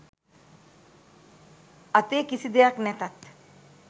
අතේ කිසි දෙයක් නැතත්